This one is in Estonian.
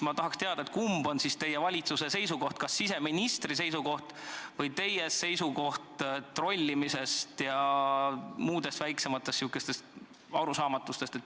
Ma tahaks teada, kumb on teie valitsuse seisukoht: kas siseministri seisukoht või teie seisukoht trollimise ja muude sihukeste väiksemate arusaamatuste kohta.